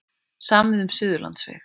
Samið um Suðurlandsveg